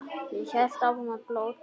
Og hélt áfram að blóta.